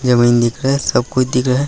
जमीन दिख रहा है सब कुछ दिख रहा है ।